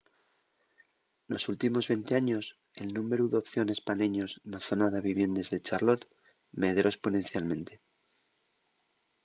nos últimos 20 años el númberu d’opciones pa neños na zona de viviendes de charlotte medró esponencialmente